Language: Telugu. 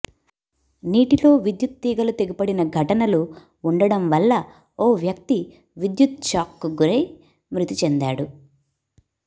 నీటిలో విద్యుత్ తీగలు తెగిపడిన ఘటనలు ఉండడంవల్ల ఓ వ్యక్తి విద్యుత్ షాక్కు గురై మృతి చెందాడు